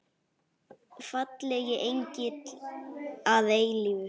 Fallegi engill að eilífu.